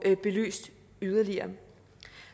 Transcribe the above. belyst yderligere